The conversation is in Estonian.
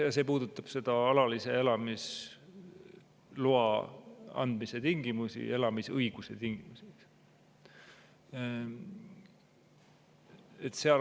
See puudutab alalise elamisloa andmise tingimusi, õiguse tingimusi.